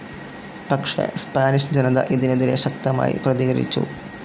പക്ഷെ സ്പാനിഷ് ജനത ഇതിനെതിരെ ശക്തമായി പ്രതികരിച്ചു.